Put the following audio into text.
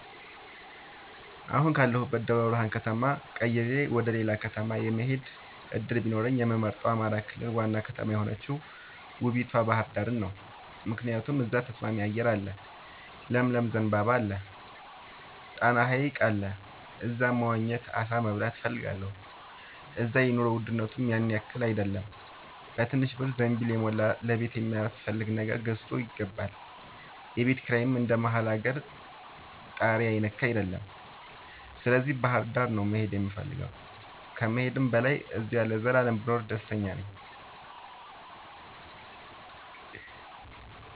አሁን ካለሁበት ደብረብርሃን ከተማ ቀይሬ ወደሌላ ከተማ የመሆድ እድል ቢኖረኝ የምመርጠው የአማራ ክልል ዋና ከተማ የሆነችውን ውቡቷ ባህርዳርን ነው። ምክንያቱም እዛ ተስማሚ አየር አለ ለምለም ዘንባባ አለ። ጣና ሀይቅ አለ እዛ መዋኘት አሳ መብላት እፈልጋለሁ። እዛ የኑሮ ውድነቱም ያንያክል አይደለም በትንሽ ብር ዘንቢልን የሞላ ለቤት የሚያስፈልግ ነገር ገዝቶ ይገባል። የቤት ኪራይም እንደ መሀል አገር ታሪያ የነካ አይደለም ስለዚህ ባህርዳር ነው መሄድ የምፈልገው ከመሄድም በላይ አዚያው ለዘላለም ብኖር ደስተኛ ነኝ።